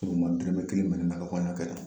E kɔni ma dɔrɔmɛ kelen minɛ ne la kan y'a kɛ tan